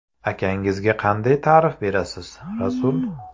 Akangizga qanday ta’rif berasiz, Rasul?